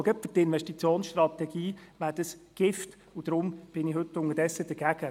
Ich glaube, dies wäre gerade für die Investitionsstrategie Gift, und deswegen bin ich heute unterdessen dagegen.